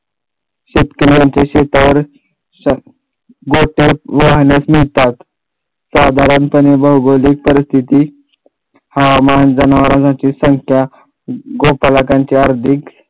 शेतकऱ्यांच्या शेतावर नसतात साधारणपणे भौगोलिक परिस्थिती हा जनावरांची संख्या